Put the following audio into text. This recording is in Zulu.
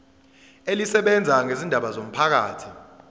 elisebenza ngezindaba zomphakathi